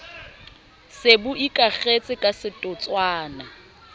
se bo ikakgetse ka setotswana